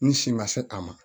N si ma se a ma